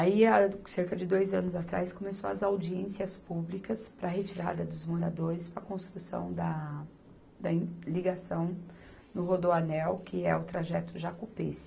Aí, há cerca de dois anos atrás, começou as audiências públicas para a retirada dos moradores para a construção da ligação no Rodoanel, que é o trajeto Jacú-Pêssego